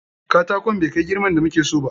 Katakon bai kai girman da muke so ba.